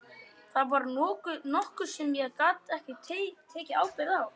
Það var nokkuð sem ég gat ekki tekið ábyrgð á.